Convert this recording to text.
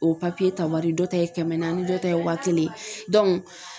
O papiye ta wari dɔ ta ye kɛmɛ naani dɔ ta ye waa kelen